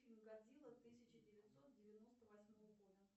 фильм годзила тысяча девятьсот девяносто восьмого года